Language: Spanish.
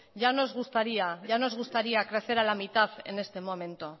ya nos gustaría crecer a la mitad en este momento